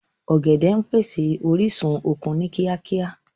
Ọ̀gẹ̀dẹ̀ ń pèsè orísun okun ni kíákíá